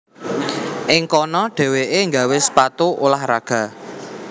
Ing kono dhéwéké gawé sepatu ulah raga